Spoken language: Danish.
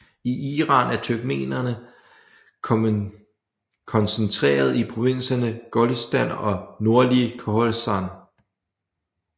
I Iran er turkmenerene koncentrerede i provinserne Golestan og nordlige Khorasan